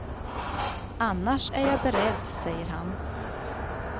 Annars är jag beredd, säger han.